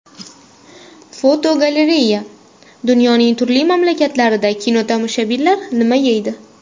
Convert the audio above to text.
Fotogalereya: Dunyoning turli mamlakatlarida kinotomoshabinlar nima yeydi?.